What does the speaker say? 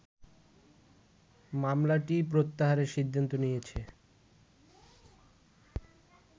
মামলাটিই প্রত্যাহারের সিদ্ধান্ত নিয়েছে